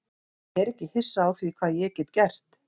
Ég er ekki hissa á því hvað ég get gert.